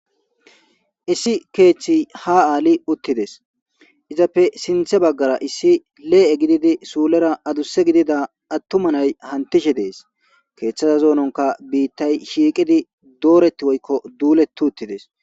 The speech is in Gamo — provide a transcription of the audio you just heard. Issi keethi ha Ali uttides izappe sintha bagara issi le'e gididi sulera aduse nay hantishe dees keethaza zoononka bittay shiqidi doreti woyko duleti uttides